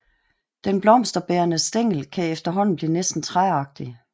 Den blomsterbærende stængel kan efterhånden blive næsten træagtig